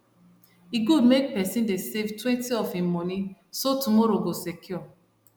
e good make person dey savetwentyof him money so tomorrow go secure